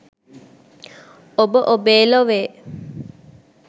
ඔබ ඔබේ ලොවේ